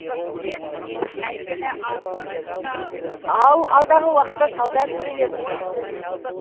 ал алдағы уақытта сауда сөрелеріне де шығуы мүмкін